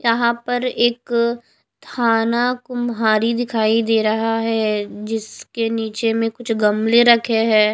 यहां पर एक थाना कुम्हारी दिखाई दे रहा है जिसके नीचे कुछ गमले रखे है।